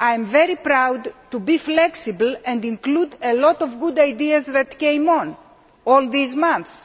and I am very proud to be flexible and include a lot of good ideas that were put forward over those months.